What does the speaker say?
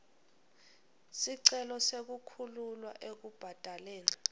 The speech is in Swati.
sicelo sekukhululwa ekubhadaleni